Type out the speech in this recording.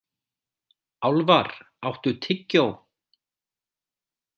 Álfar, áttu tyggjó?